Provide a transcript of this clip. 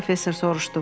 Professor soruşdu.